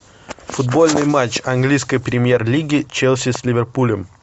футбольный матч английской премьер лиги челси с ливерпулем